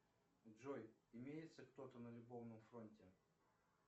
джой имеется кто то на любовном фронте